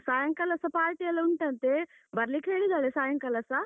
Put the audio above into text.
ಸಾಯಂಕಾಲಸ party ಎಲ್ಲ ಉಂಟಂತೆ ಬರ್ಲಿಕ್ಕೆ ಹೇಳಿದ್ದಾಳೆ ಸಾಯಂಕಾಲಸ.